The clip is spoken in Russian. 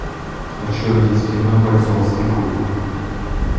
хочу увидеть кино бойцовский клуб